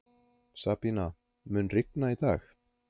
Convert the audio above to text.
Sabína, mun rigna í dag?